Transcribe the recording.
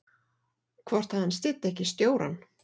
Hvort að hann styddi ekki stjórann?